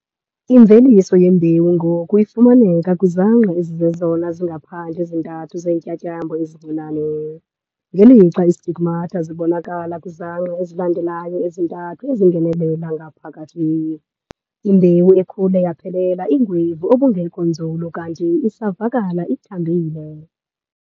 Imveliso yembewu ngoku ifumaneka kwizangqa ezizezona zingaphandle zi-3 zeentyatyambo ezincinane ngelixa istigmata zibonakala kwizangqa ezilandelayo ezi-3 ezingenelela ngaphakathi. Imbewu ekhule yaphelela ingwevu obungekho nzulu kanti isavakala ithambile.